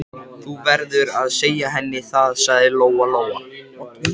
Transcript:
Þú verður að segja henni það, sagði Lóa Lóa.